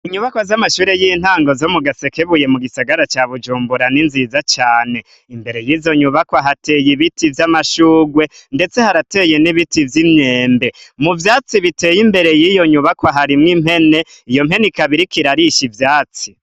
Inyubakwa z’amashure y’intango zo mu Gasekebuye mu gisagara ca Bujumbura ni nziza cane. Imbere y’izo nyubakwa hateye ibiti vy’amashurwe, ndetse harateye n’ibiti vy’imyembe. Mu vyatsi biteye imbere y’iyo nyubakwa harimwo impene, iyo mpene ikaba iriko irarisha ivyatsi.